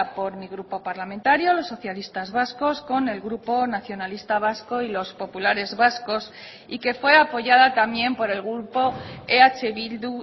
por mi grupo parlamentario los socialistas vascos con el grupo nacionalista vasco y los populares vascos y que fue apoyada también por el grupo eh bildu